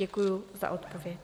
Děkuji za odpověď.